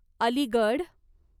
Aligarh